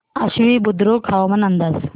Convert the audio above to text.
आश्वी बुद्रुक हवामान अंदाज